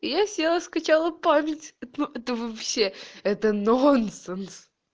я села скачала память это вообще это нонсенс